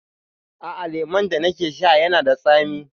A'a, lemun da nake sha yana da tsami.